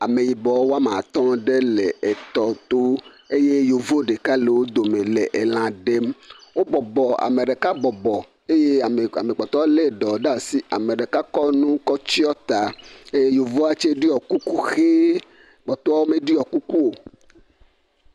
Ameyibɔ ɖe woame atɔ̃ ɖe etɔto eye yevu ɖeka le wo dome le elã ɖem. Wobɔbɔ, ame ɖeka bɔbɔ eye ame kpɔtɔewo lé ɖɔ ɖe asi, ame ɖeka tsɛkɔ nu tsyɔ ta, yevua tsɛ ɖɔ kuku ʋe, kpɔtɔewo meɖɔ kuku o.